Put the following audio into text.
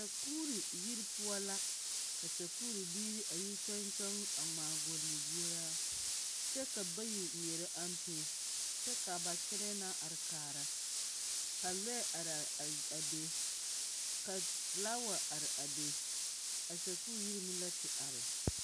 Sakuuri yiri poɔ la ka sakuuri biiri a yi kyɔgŋ kyɔŋ a gɔle guoraa kyɛ ka bayi nŋeɛrɛ ampe kyɛ ka ba kyɛlɛɛ na are kaara ka lɔɛ araa be ka filaawa are a be a sakuuri yiri meŋ la te are.